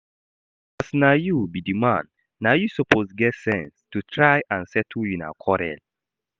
As na you be the man, na you suppose get sense to try and settle una quarrel